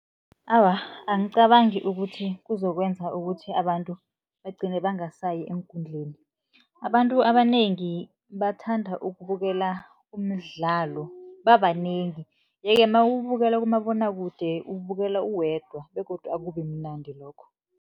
Awa, angicabangi ukuthi kuzokwenza ukuthi abantu bagcine bangasayi eenkundleni. Abantu abanengi bathanda ukubukela umdlalo babanengi, ye-ke nawuwubukela kumabonwakude uwubukela uwedwa begodu akubi mnandi lokho.